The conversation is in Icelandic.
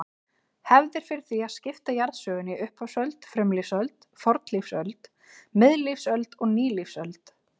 Hefð er fyrir því að skipta jarðsögunni í upphafsöld, frumlífsöld, fornlífsöld, miðlífsöld og nýlífsöld.